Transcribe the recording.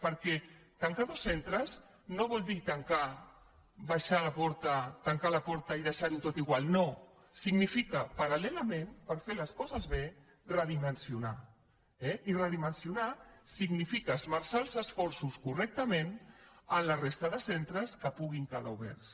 perquè tancar dos centres no vol dir tancar la porta i deixar ho tot igual no significa paralbé redimensionar eh i redimensionar significa esmerçar els esforços correctament en la resta de centes que puguin quedar oberts